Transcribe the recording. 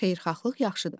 Xeyirxahlıq yaxşıdır.